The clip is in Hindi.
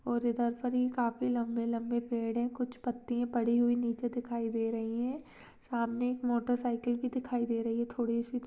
और इधर पर ही काफी लम्बे लम्बे पेड़ है कुछ पत्तियाँ पड़ी हुई निचे दिखाई दे रही है सामने एक मोटर साइकिल भी दिखाई दे रही है थोड़ी सी--